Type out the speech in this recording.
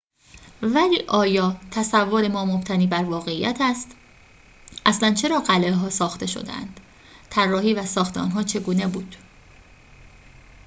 ولی آیا تصور ما مبتنی بر واقعیت است اصلاً چرا قلعه‌ها ساخته شدند طراحی و ساخت آنها چگونه بود